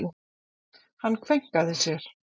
Hann kveinkaði sér.